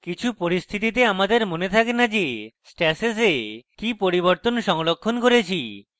কিছু পরিস্থিতিতে আমাদের মনে থাকে in যে stashes we কি পরিবর্তন সংরক্ষণ করেছি